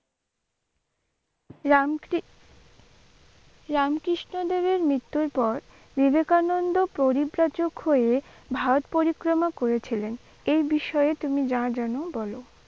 রামক্রি রামকৃষ্ণদেবের মৃত্যুর পর বিবেকানন্দ পরিপ্রাচক হয়ে ভারত পরিক্রমা করেছিলেন এই বিষয়ে তুমি যা যেন বলো?